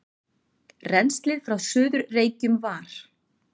Rennslið frá Suður-Reykjum var